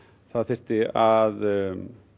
það þyrfti að